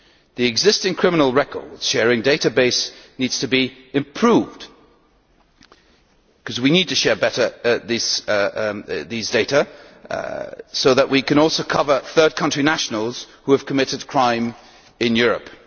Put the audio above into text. The existing criminal record sharing database needs to be improved, because we need to share these data better so that we can also cover third country nationals who have committed crime in Europe.